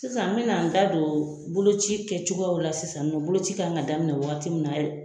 Sisan n bɛna an da don boloci kɛ cogoyaw la sisan nin nɔ . Boloci ka kan ka daminɛ waati min na